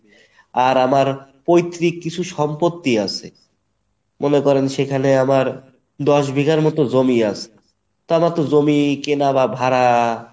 আর আমার পৈত্রিক কিছু সম্পত্তি আছে মনে করেন সেখানে আমার দশ বিঘার মতো জমি আছে তো আমার তো জমি কেনা বা ভাড়া